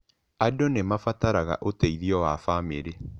Andũ nĩ mabataraga ũteithio wa famĩrĩ.